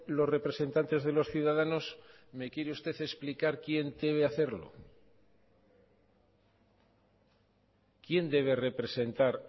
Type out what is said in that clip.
los representantes de los ciudadanos me quiere usted explicar quién debe hacerlo quién debe representar